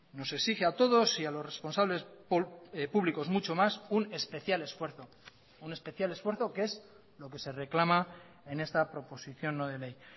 nos exige a todos y a los responsables públicos mucho más un especial esfuerzo un especial esfuerzo que es lo que se reclama en esta proposición no de ley